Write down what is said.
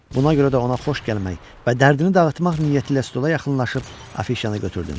Buna görə də ona xoş gəlmək və dərdini dağıtmaq niyyətiylə stola yaxınlaşıb afişanı götürdüm.